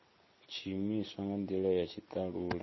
tshiimiswa nga ndila ya tshitalula